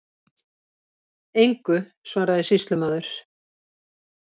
Engu, svaraði sýslumaður.